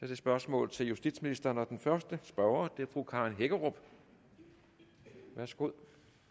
det spørgsmål til justitsministeren og den første spørger er fru karen hækkerup værsgo